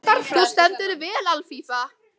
Þú stendur þig vel, Alfífa!